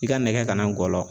I ka nɛgɛ ka na ngɔlɔ.